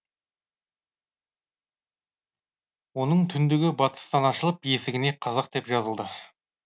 оның түндігі батыстан ашылып есігіне қазақ деп жазылды